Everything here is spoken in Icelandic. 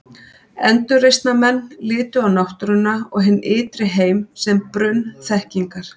endurreisnarmenn litu á náttúruna og hinn ytri heim sem brunn þekkingar